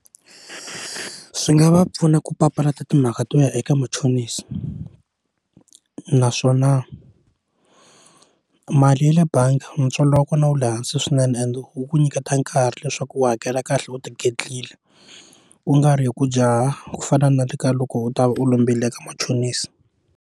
Swi nga va pfuna ku papalata timhaka to ya eka machonisi naswona mali ya le bangi ntswalo wa kona wu le hansi swinene and wu ku nyiketa nkarhi leswaku u hakela kahle u tigedlile u nga ri hi ku jaha ku fana na le ka loko u ta va u lombile ka machonisi.